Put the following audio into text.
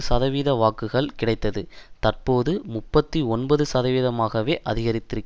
சதவீதவாக்குகள் கிடைத்தது தற்போது முப்பத்தி ஒன்பது சதவீதமாக அதிகரித்திருக்கிறது